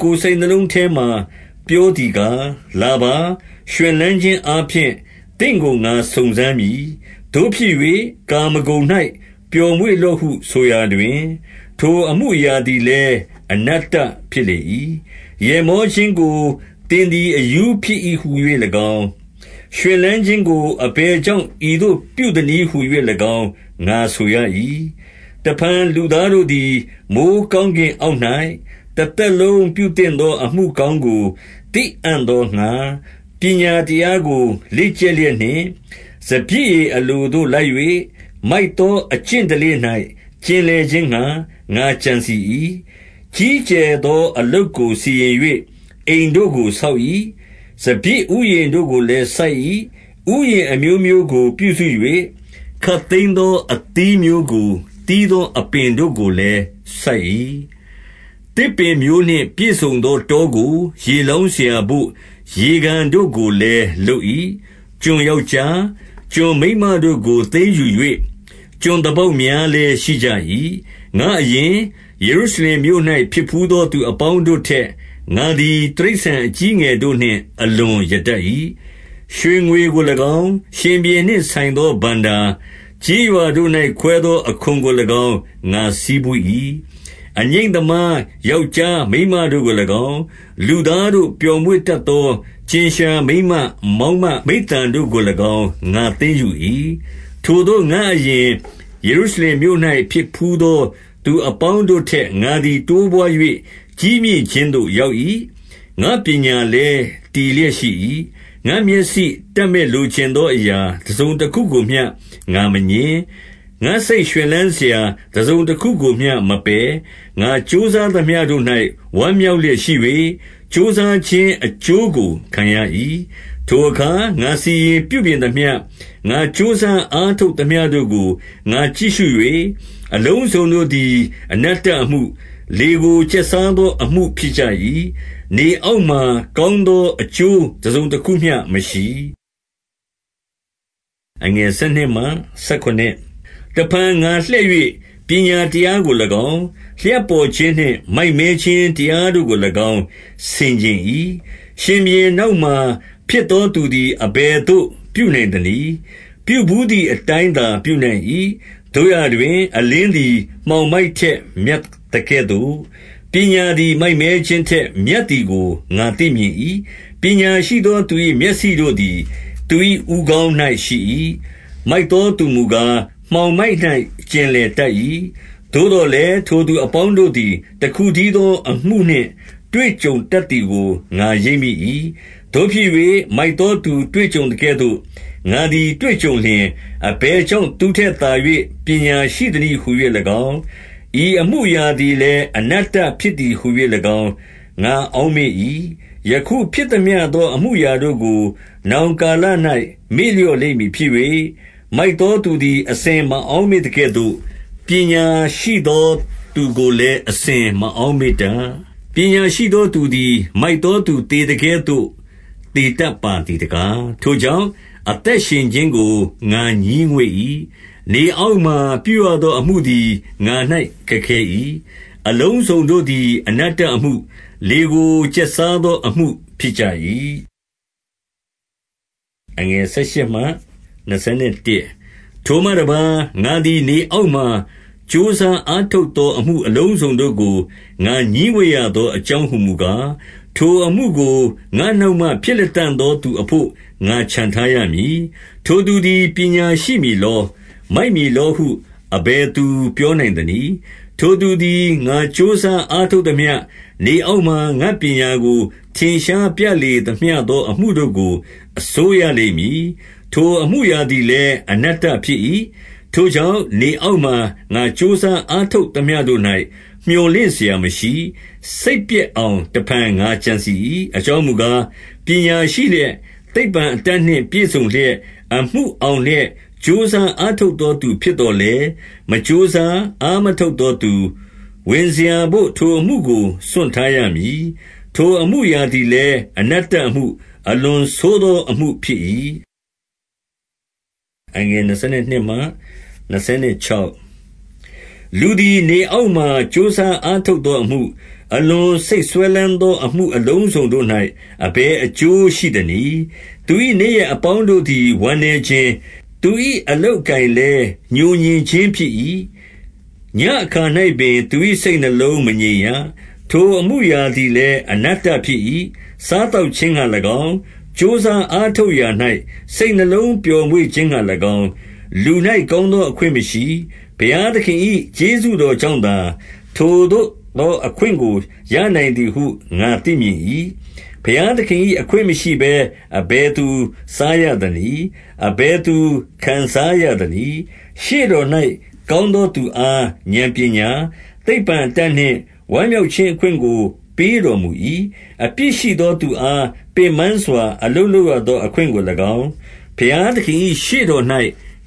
ကိုယ်စိတ်နှလုံးထဲမှာ ပြောသည် ကား၊ လာပါ။ ရွှင်လန်းခြင်းအားဖြင့် သင့်ကိုငါစုံစမ်းမည်။ သို့ဖြစ်၍၊ ကာမဂုဏ်၌ပျော်မွေ့လော့ဟု ဆိုရာတွင်၊ ထိုအမှုအရာသည်လည်း အနတ္တဖြစ်၏။ 2 ရယ်မောခြင်းကို သင်သည် အရူးဖြစ်၏ဟူ၍ ၎င်း၊ ရွှင်လန်းခြင်းကိုအဘယ်ကြောင့် ဤသို့ပြုသနည်း ဟူ၍၎င်း ငါဆိုရ၏။ 3 တဖန်လူသားတို့သည် မိုဃ်းကောင်းကင် အောက်၌၊ တသက်လုံးပြုသင့်သောအမှုကောင်းကို သိအံ့ သောငှါ၊ ပညာတရားကို လေ့ကျက်လျက်နှင့်၊ စပျစ်ရည် အလိုသို့လိုက်၍၊ မိုက်သောအကျင့်စလေ့၌ ကျင်လည်ခြင်း ငှါ၊ ငါကြံစည်၏။ 4 ကြီးကျယ်သောအလုပ်ကို စီရင်၍အိမ်တို့ကို ဆောက်၏။ စပျစ်ဥယျဉ်တို့ကိုလည်း စိုက်၏။ 5 ဥယျာဉ်အမျိုးမျိုးကို ပြုစု၍၊ ခပ်သိမ်းသော အသီးမျိုးကို သီးသောအပင်တို့ကိုလည်း စိုက်၏။ 6 သစ်ပင်မျိုးနှင့် ပြည့်စုံသောတောကို ရေလောင်း စရာဘို့ ရေကန်တို့ကိုလည်း လုပ်၏။ 7 ကျွန်ယောက်ျား၊ ကျွန်မိန်းမတို့ကိုသိမ်းယူ၍၊ ကျွန်သားပေါက်များလည်းရှိကြ၏။ ငါ့အရင်၊ ယေရုရှလင် မြို့၌ဖြစ်ဘူးသော သူအပေါင်းတို့ထက်၊ ငါသည် တိရစ္ဆာန် အကြီးအငယ်တို့နှင့် အလွန်ရတတ်၏။ 8 ရွှေငွေကို၎င်း၊ ရှင်ဘုရင်နှင့်ဆိုင်သောဘဏ္ဍာ၊ ကျေးရွာတို့၌ ခွဲသောအခွန်ကို၎င်း ငါဆည်းပူး၏။ အငြိမ့် သမားယောက်ျားမိန်းမတို့ကို၎င်း၊ လူသားတို့ ပျော်မွေ့ တတ်သော ကြင်လျှာမိန်းမမောင်းမမိဿံတို့ကို၎င်း ငါသိမ်းယူ၏။ 9 ထိုသို့ငါ့အရင်၊ ယေရုရှလင်မြို့၌ ဖြစ်ဘူးသောသူ အပေါင်းတို့ထက်၊ ငါသည် တိုးပွါး၍ ကြီးမြင့်ခြင်းသို့ ရောက်၏။ ငါပညာလည်း တည်လျက်ရှိ၏။ 10 ငါ့မျက်စိတပ်မက် လိုချင်သောအရာ တစုံတခု ကိုမျှ ငါမငြင်း၊ ငါ့စိတ်ရွှင်လန်းစရာ တစုံတခုကိုမျှမပယ်။ ငါကြိုးစားသမျှတို့၌ ဝမ်းမြောက်လျက်ရှိ၍၊ ကြိုးစားခြင်း အကျိုးကိုခံရ၏။ 11 ထိုအခါငါစီရင်ပြုပြင်သမျှ၊ ငါကြိုးစားအားထုတ် သမျှတို့ ကိုငါကြည့်ရှု၍၊ အလုံးစုံတို့သည် အနတ္တအမှု၊ လေကိုကျက်စားသော အကျိုးတစုံတခုမျှမရှိ။ 12 တဖန်ငါလှည့်၍ ပညာတရားကို၎င်း၊ လျှပ်ပေါ် ခြင်းနှင့် မိုက်မဲခြင်းတရားတို့ကို၎င်း ဆင်ခြင်၏။ရှင်ဘုရင် နောက်မှာ ဖြစ်သောသူသည် အဘယ်သို့ ပြုနိုင်သနည်း။ ပြုဘူးသည်အတိုင်းသာ ပြုနိုင်၏။ 13 သို့ရာတွင်၊ အလင်းသည် မှောင်မိုက်ထက်မြတ် သကဲ့သို့၊ ပညာသည် မိုက်မဲခြင်းထက်မြတ်သည်ကို ငါ သိမြင်၏။ 14 ပညာရှိသောသူ၏ မျက်စိတို့သည် သူ၏ ဦးခေါင်း၌ရှိ၏။ မိုက်သောသူမူကား၊ မှောင်မိုက်၌ ကျင်လည်တတ်၏။ သို့သော်လည်း ထိုသူအပေါင်းတို့သည် တခုတည်းသော်အမှုနှင့် တွေ့ကြုံတတ်သည်ကို ငါရိပ်မိ ၏။ 15 သို့ဖြစ်၍၊ မိုက်သောသူတွေ့ကြုံသကဲ့သို့၊ ငါသည် တွေ့ကြုံလျှင်၊ အဘယ်ကြောင့်သူ့ထက်သာ၍ ပညာ ရှိသနည်းဟူ၍၎င်း၊ ဤအမှုအရာသည်လည်း အနတ္တ ဖြစ်သည်ဟူ၎င်း ငါအောက်မေ့၏။ 16 ယခုဖြစ်သမျှသော အမှုအရာတို့ကို နောင် ကာလ၌ မေ့လျော့လိမ့်မည်ဖြစ်၍၊ မိုက်သောသူသည် အစဉ်မအောက်မေ့သကဲ့သို့၊ ပညာရှိသောသူကိုလည်း အစဉ်မအောက်မေ့တတ်။ ပညာရှိသောသူသည် မိုက် သော သူသေသကဲ့သို့ သေတတ်ပါသည်တကား။ 17 ထိုကြောင့်၊ အသက်ရှင်ခြင်းကို ငါငြီးငွေ့၏။ နေအောက်မှာ ပြုသောအမှုသည် ငါ၌ခက်ခဲ၏။ အလုံးစုံ တို့သည် အနတ္တအမှု၊ လေကိုကျက်စားသောအမှု ဖြစ်ကြ ၏။ 18 ထိုမှတပါး၊ ငါသည်နေအောက်မှာ ကြိုးစား အားထုတ်သော အမှုအလုံးစုံတို့ကို ငါငြီးငွေ့ရသော အကြောင်းဟူမူကား၊ ထိုအမှုကို ငါ့နောက်မှဖြစ်လတံ့ သောသူအဘို့ ငါချန်ထားရမည်။ 19 ထိုသူသည် ပညာရှိမည်လော၊ မိုက်မည်လောဟု အဘယ်သူ ပြောနိုင်သနည်း။ ထိုသူသည် ငါကြိုးစား အားထုတ်သမျှ၊ နေအောက်မှာငါ့ပညာကို ထင်ရှားပြလေ သမျှသော အမှုတို့ကို အစိုးရလိမ့်မည်၊ ထိုအမှုအရာသည် လည်း အနတ္တဖြစ်၏။ 20 ထိုကြောင့်နေအောက်မှာ ငါကြိုးစားအားထုတ် သမျှတို့၌ မြော်လင့်စရာမရှိ။ စိတ်ပျက်အောင်တဖန် ငါကြံစည်၏။ 21 အကြောင်းမူကား၊ ပညာရှိလျက် သိပ္ပံအတတ် နှင့် ပြည့်စုံလျက်၊ အမှုအောင်လျက် ကြိုးစားအားထုတ် သောသူဖြစ်သော်လည်း၊ မကြိုးစား၊ အားမထုတ်သောသူ ဝင်စရာဘို့ ထိုအမှုကိုစွန့်ထားရမည်။ ထိုအမှုအရာသည် လည်း အနတ္တအမှု၊ အလွန်ဆိုးသောအမှုဖြစ်၏။ 22 လူသည်နေအောက်မှာ ကြိုးစားအားထုတ်သော အမှု အလွန်စိတ်စွဲလမ်းသောအမှု၊ အလုံစုံတို့၌ အဘယ် အကျိုးရှိသနည်း။ 23 သူ၏နေ့ရက်အပေါင်းတို့သည် ဝမ်းနည်းခြင်း၊ သူ၏အလုပ်အကိုင်လည်း ငြိုငြင်ခြင်းဖြစ်၏။ ညဉ့်အခါ၌ ပင် သူ၏စိတ်နှလုံး မငြိမ်ရ။ ထိုအမှုအရာသည်လည်း အနတ္တဖြစ်၏။ 24 စားသောက်ခြင်းငှါ၎င်း၊ ကြိုးစားအားထုတ်ရာ၌ စိတ်နှလုံးပျော်မွေ့ခြင်းငှါ၎င်း၊ လူ၌ကောင်းသောအခွင့် မရှိ။ ဘုရားသခင်၏ကျေးဇူးတော်ကြောင့်သာ၊ ထိုသို့သော အခွင့်ကို ရနိုင်သည်ဟု ငါသိမြင်၏။ 25 ဘုရားသခင်၏အခွင့်မရှိဘဲ အဘယ်သူစားရ သနည်း။ အဘယ်သူ ခံစားရသနည်း။ 26 ရှေ့တော်၌ ကောင်းသောသူအား ဥာဏ်ပညာ၊ သိပ္ပံအတတ်နှင့် ဝမ်းမြောက်ခြင်းအခွင့်ကို ပေးတော်မူ၏။ အပြစ်ရှိသောသူအား ပင်ပန်းစွာ အလုပ်လုပ်ရသော အခွင့်ကို၎င်း၊ ဘုရားသခင်၏ရှေ့တော်၌